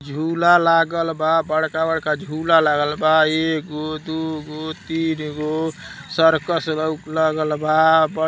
झुला लागल बा बड़का-बड़का झुला लागल बा एगो दुगो तीन्गो सर्कस लल लागल बा।